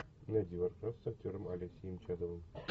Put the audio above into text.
найди варкрафт с актером алексеем чадовым